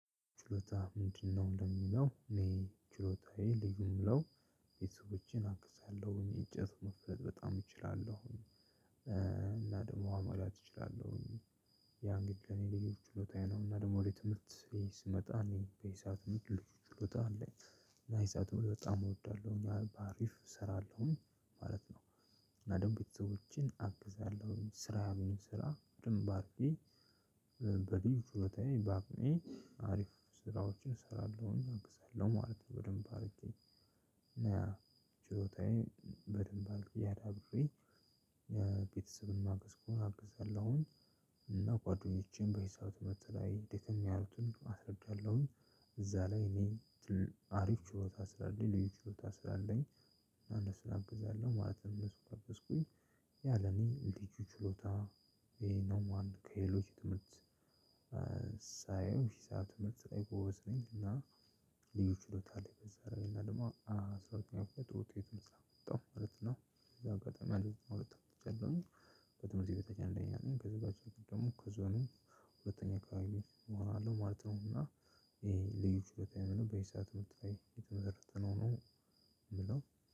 ችሎታ ምንድነው ለሚለው እኔ ችሎታዬ ልዩ የምለው ቤተሰቦቼን አግዛለሁ እንጨት መፍለጥ በጣም እችላለሁ እና ደግሞ አማላት እችላለሁ። ያ እንግዲህ ለእኔ ልዩ ችሎታዬ ነው። እና ደግሞ ወደ ትምህርት ቤት ስመጣ እኔ በዚህ ሰዓት ልዩ ትልቅ ችሎታ አለኝ እና ናይዓቶል በጣም እወዳለሁ እና በአሪፍ እሰራለሁኝ ማለት ነው። እና ደግሞ ቤተሰቦቼን አግዛለሁኝ ስራ ያሉኝን ስራ በደንብ አድርጌ በዚህ ችሎታዬ በአቅሜ አሪፍ ስራዎችን እሰራለሁኝ አግዛለሁ ማለት ነው በደንብ አድርጌ። እና ችሎታዬን በደንብ አድርጌ አዳብሬ ቤተሰብን ማገስ ከሆነ አግዛለሁኝ። እና ጎዋዳኞቼን በዚህ ሰዓት በተላይ ድክም ያሉትን አስረዳለሁኝ። እዛ ላይ እኔ አሪፍ ችሎታ ስላለኝ ልዩ ችሎታ ስላለኝ አንድ እነሱን አግዛለሁ ማለት ነው። እነሱን ካገዝኩኝ ያ ለኔ ልዩ ችሎታዬ ነው ማለት ነው። ከሌሎች ትምህርት ሳየው እሺ ሰዓት ብትሰጠኝ ጎበዝ ነኝ። እና ልዩ ችሎታ አለኝ በዛ ላይ እና ደግሞ አስራ ሁለተኛ ክፍል ጥሩ ውጤት ነው ያመጣሁት ማለት ነው። ያው አጋጠሚ ቀድሞኝ ከዚህ ጋር በትምህርት ቤት አንደኛ አንደኛ ነኝ ከዚህ ባች ደግሞ ከዞኑ ሁለተኛ አከባቢ እሆናለሁ ማለት ነው። እና ይሄ ልዩ ችሎታዬ አይደለም በዚህ ሰዓት ምርጥ ላይ የተመረጠ ነው የምለው